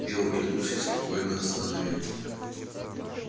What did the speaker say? билл оглянулся и спокойно остановил